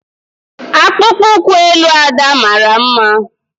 Akpụkpọ ụkwụ elu Ada mara mma.